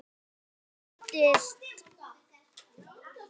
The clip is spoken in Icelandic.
Ég eldist.